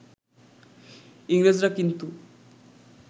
ইংরেজরা কিন্তু